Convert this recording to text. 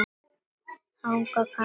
Þannig kann að fara.